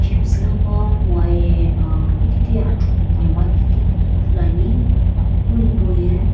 chips noqo moaye uhh kititi achuqu nhemgha kititi ithuluani ipu hipauye.